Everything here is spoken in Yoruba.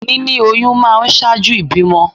Níní oyún máa ń ṣáájú ìbímọ